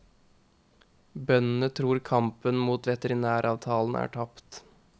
Bøndene tror kampen mot veterinæravtalen er tapt.